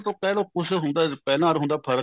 ਪਹਿਲਾ ਤਾਂ ਕਹਿਲੋ ਕੁੱਛ ਹੁੰਦਾ ਪਹਿਲਾ ਅਰ ਹੁਣ ਦਾ ਫਰਕ਼